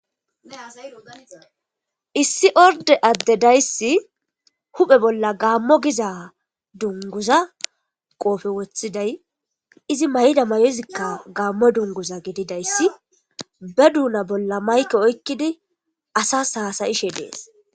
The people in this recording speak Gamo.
Issi orde adde dayssi huphe bolla gaammo giza dunguza qoofe woththiday izi mayda mayozikka gaammo dunguza gididayssi be duuna bolla mayke oykkidi asas haasayishe dees.